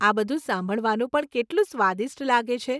આ બધું સાંભળવાનું પણ કેટલું સ્વાદિષ્ટ લાગે છે